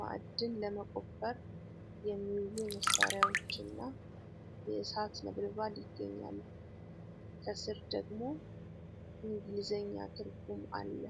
ማዕድን ለመቆፈር የሚውሉ መሳሪያዎችና የእሳት ነበልባል ይገኛሉ። ከስር ደግሞ ን እንግሊዘኛ ትርጉሙ አለ፡፡